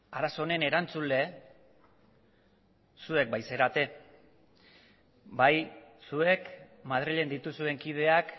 arazo honen erantzule zuek baitzarete bai zuek madrilen dituzuen kideak